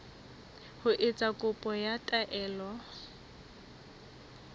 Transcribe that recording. ho etsa kopo ya taelo